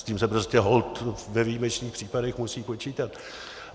S tím se prostě holt ve výjimečných případech musí počítat.